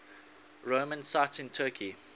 roman sites in turkey